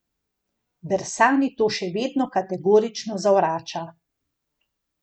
Bersani to še vedno kategorično zavrača.